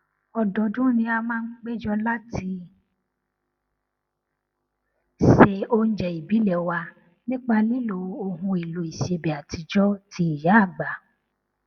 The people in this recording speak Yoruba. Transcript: ọdọọdún ni a máa n péjọ láti se oúnjẹ ìbílẹ wa nípa lílo ohunèlò ìsebẹ àtijọ ti ìyáàgbà